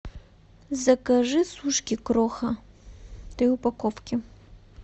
закажи сушки кроха три упаковки